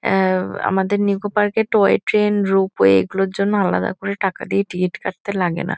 অ্যা- আমাদের নিকো পার্ক -এ toy train ropeway এগুলোর জন্য আলাদা করে টাকা দিয়ে টিকিট কাটতে লাগে না।